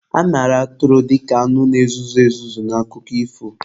A mara atụrụ dika anụ na-ezuzu ezuzu n'akụkọ ifo.